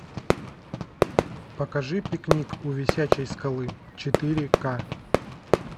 покажи пикник у висячей скалы четыре ка